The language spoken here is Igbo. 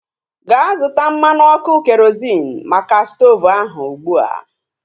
Gaa zụta mmanụ ọkụ kerozịn maka stoovu ahu ụgbụa!